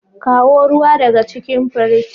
kawo ruwa daga cikin fridge.